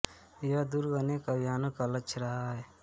यह दुर्ग अनेक अभियानों का लक्ष्य रहा है